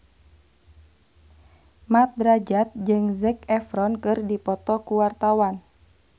Mat Drajat jeung Zac Efron keur dipoto ku wartawan